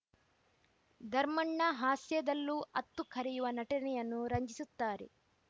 ಧರ್ಮಣ್ಣ ಹಾಸ್ಯದಲ್ಲೂ ಅತ್ತು ಕರೆಯುವ ನಟನೆಯನ್ನು ರಂಜಿಸುತ್ತಾರೆ